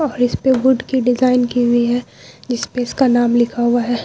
और इस्पे वुड की डिज़ाइन की हुई है जिसपे उसका नाम लिखा हुआ है।